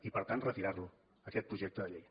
i per tant retirar lo aquest projecte de llei